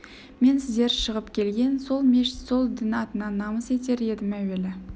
мен сіздер шығып келген сол мешіт сол дін атынан намыс етер едім әуелі